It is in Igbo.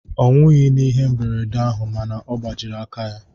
Ọ nwughị n'ihe mberede ahụ ma na gbajiri aka ya